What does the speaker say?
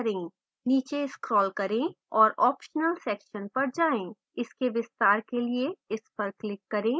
नीचे scroll करें और optional section पर जाएँ इसके विस्तार के लिए इस पर क्लिक करें